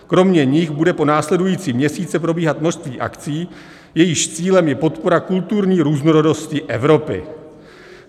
Kromě nich bude po následující měsíce probíhat množství akcí, jejichž cílem je podpora kulturní různorodosti Evropy.